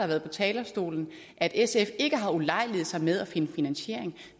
været på talerstolen at sf ikke har ulejliget sig med at finde finansiering